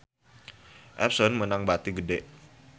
Epson meunang bati gede